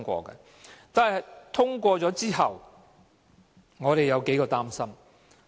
不過，《條例草案》通過之後，我們有數點擔心。